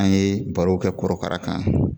An ye barow kɛ kɔrɔkara kan